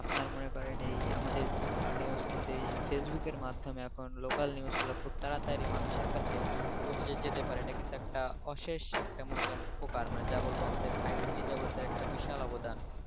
আপনার মনে করেন এই আমাদের যেকোনো news কিন্তু এই ফেসবুকের মাধ্যমে এখন local news গুলা খুব তাড়াতাড়ি মানুষের কাছে পোঁছে যেতে পারে এটা কিন্তু একটা অশেষ একটা মনে করেন উপকার মানে যা বলবো আমাদের ICT জগতের একটা বিশাল অবদান